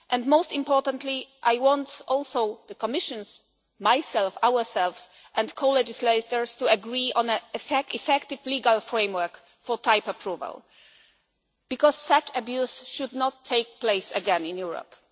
Most importantly, I also want the Commissioners myself, ourselves and co legislators to agree on an effective legal framework for type approval because such abuse should not take place again in Europe.